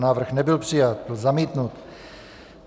Návrh nebyl přijat, byl zamítnut.